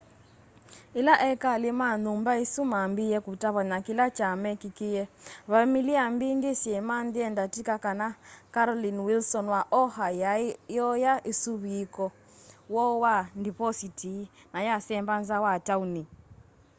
ila ekali ma nyumba isu mambiie kutavany'a kila kya mekîkîie vamili mbingi syamanyie ndatika kana carolyn wilson wa oha yaai iooya usuviiku woo wa ndipositi na yasemba nza wa tauni